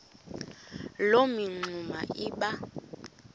loo mingxuma iba